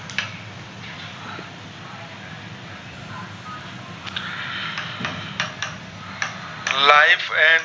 life and